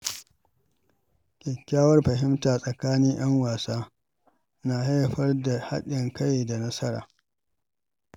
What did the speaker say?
Kyakkyawar fahimta tsakanin ‘yan wasa na haifar da haɗin kai da nasara.